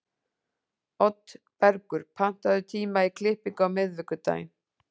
Oddbergur, pantaðu tíma í klippingu á miðvikudaginn.